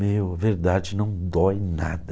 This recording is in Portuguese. Meu, verdade não dói nada.